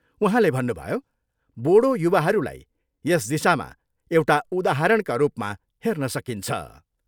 उहाँले भन्नुभयो, बोडो युवाहरूलाई यस दिशामा एउटा उदाहरणका रूपमा हेर्न सकिन्छ।